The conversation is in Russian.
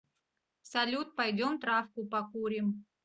салют пойдем травку покурим